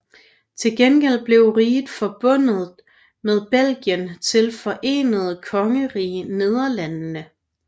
Til gengæld blev riget forbundet med Belgien til Forenede Kongerige Nederlandene